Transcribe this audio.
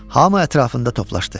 Hamı ətrafında toplaşdı.